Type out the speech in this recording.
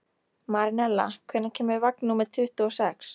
Marinella, hvenær kemur vagn númer tuttugu og sex?